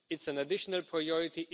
it is an additional priority.